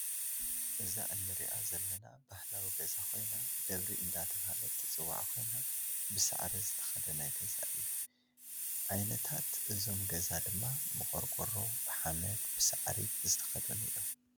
እዛ እንረኣ ዘለና ባህላዊ ገዛ ኮይና ደብሪ እንዳተባሃለት ትፅዋዕ ኮይና ብሳዕሪ ዝተከደነ ገዛ እዩ። ዓይነታት ገዛ እዞም ድማ ብቆርቆሮ፣ ብሓመድ፣ ብሳዕሪ ዝተከደኑ እዮም።